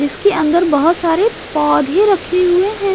इसके अंदर बहुत सारे पौधे रखे हुए है।